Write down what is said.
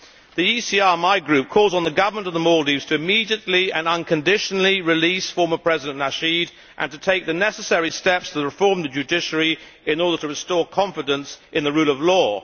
My group, the ECR, calls on the Government of the Maldives to immediately and unconditionally release former President Nasheed and to take the necessary steps to reform the judiciary in order to restore confidence in the rule of law.